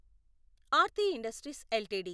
Aarti industries LTD